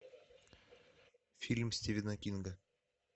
фильм стивена кинга